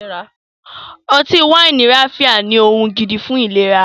Ọtí wáìnì ráfíá ní ohun gidi fún ìlera